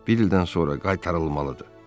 Bir ildən sonra qaytarılmalıdır.